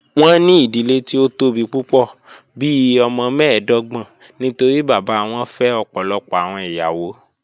Wọn ni idile ti o tobi pupọ, bii ọmọ mẹẹdọgbọn nitori baba wọn fẹ ọpọlọpọ awọn iyawo.